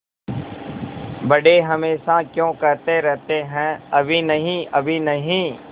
बड़े हमेशा क्यों कहते रहते हैं अभी नहीं अभी नहीं